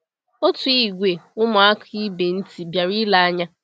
Otu ìgwè ụmụaka ibe ntị bịara ilee anya.